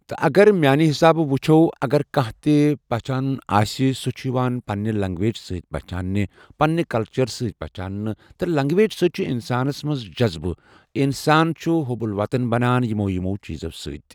تہٕ اگر میٛانہِ حِساب وُچھو اگر کانٛہہ تہِ پہچانُن آسہِ سُہ چھِ یِوان پَنٛنہِ لینٛگویج سۭتۍ پہچاونہٕ پنٛنہِ کَلچَر سۭتۍ پہچاونہٕ تہٕ لینٛگویج سۭتی چھِ اِنسانَس منٛز جذبہٕ اَنسان چھِ وحُب الوطنی بَناوان یِمو یِمو چیٖزو سۭتۍ۔